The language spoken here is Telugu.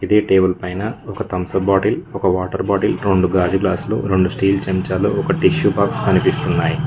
ఇదే టేబుల్ పైన ఒక థంసప్ బాటిల్ ఒక వాటర్ బాటిల్ రెండు గాజు గ్లాసులు రెండు స్టీల్ చెంచాలు ఒక టిష్యూ బాక్స్ కనిపిస్తున్నాయ్.